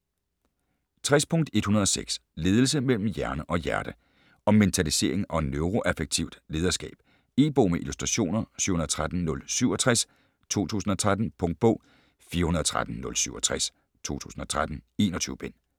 60.106 Ledelse mellem hjerne og hjerte Om mentalisering og neuroaffektivt lederskab. E-bog med illustrationer 713067 2013. Punktbog 413067 2013. 21 bind.